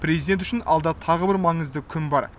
президент үшін алда тағы бір маңызды күн бар